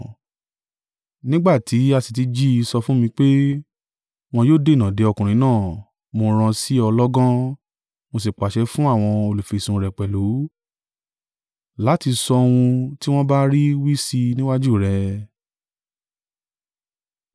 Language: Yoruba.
Nígbà tí a sì tí jí i sọ fún mi pé, wọn yóò dènà de ọkùnrin náà, mo rán an sí ọ lọ́gán, mo sì pàṣẹ fún àwọn olùfisùn rẹ̀ pẹ̀lú, láti sọ ohun tí wọ́n bá rí wí sí i níwájú rẹ̀.